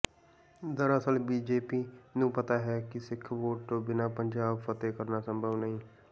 ਦਰਅਸਲ ਬੀਜੇਪੀ ਨੂੰ ਪਤਾ ਹੈ ਕਿ ਸਿੱਖ ਵੋਟ ਤੋਂ ਬਿਨਾ ਪੰਜਾਬ ਫਤਹਿ ਕਰਨਾ ਸੰਭਵ ਨਹੀਂ